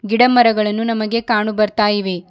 ಗಿಡ ಮರಗಳನ್ನು ನಮಗೆ ಕಾಣು ಬರ್ತಾ ಇವೆ.